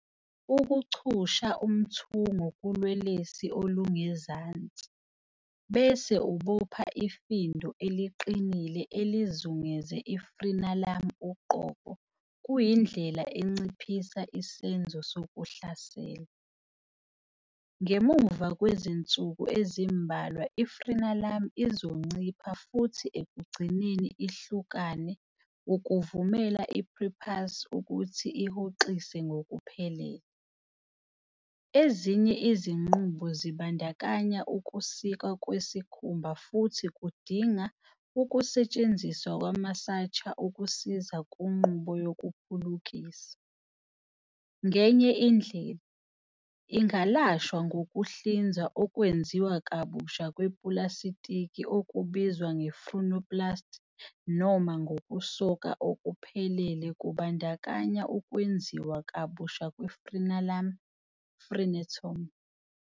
Ukuchusha umthungo kulwelwesi olungezansi, bese ubopha ifindo eliqinile elizungeze i-frenulum uqobo kuyindlela enciphisa isenzo sokuhlasela. Ngemuva kwezinsuku ezimbalwa i-frenulum izoncipha futhi ekugcineni ihlukane ukuvumela i-prepuce ukuthi ihoxise ngokuphelele. Ezinye izinqubo zibandakanya ukusikwa kwesikhumba futhi kudinga ukusetshenziswa kwama-suture ukusiza kunqubo yokuphulukisa. Ngenye indlela, ingalashwa ngokuhlinzwa okwenziwa kabusha kwepulasitiki okubizwa nge-frenuloplasty, noma ngokusoka okuphelele kubandakanya ukwenziwa kabusha kwe-frenulum, frenectomy.